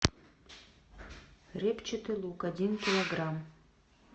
репчатый лук один килограмм